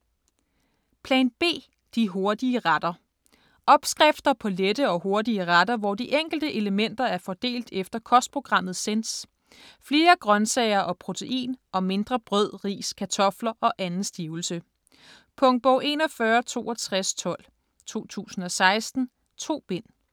Plan B - de hurtige retter Opskrifter på lette og hurtige retter hvor de enkelte elementer er fordelt efter kostprogrammet Sense: flere grøntsager og protein og mindre brød, ris, kartofter og anden stivelse. Punktbog 416212 2016. 2 bind.